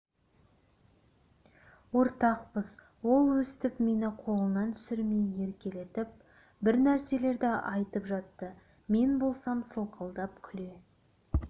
ортақпыз ол өстіп мені қолынан түсірмей еркелетіп бір нәрселерді айтып жатты мен болсам сылқылдап күле